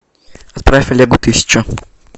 отправь олегу тысячу